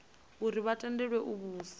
uri vha tendelwe u vhusa